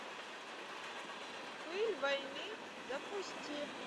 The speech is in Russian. пыль войны запусти